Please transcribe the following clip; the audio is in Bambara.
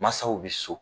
Mansaw bɛ so